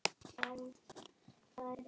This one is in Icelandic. Páll: Hvað gerið þið?